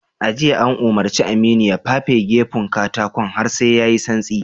A jiya, an umurci Aminu ya fafe gefun katakon har sai ya yi santsi.